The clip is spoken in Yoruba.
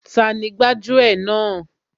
Tani gbájú ẹ̀ náà